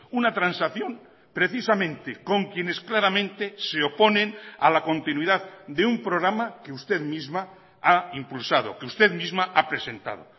una transacción precisamente con quienes claramente se oponen a la continuidad de un programa que usted misma ha impulsado que usted misma ha presentado